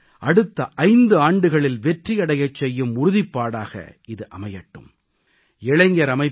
நமது சபதத்தை அடுத்த 5 ஆண்டுகளில் வெற்றியடைச் செய்யும் உறுதிப்பாடாக இது அமையட்டும்